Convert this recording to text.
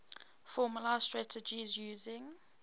formalised strategies using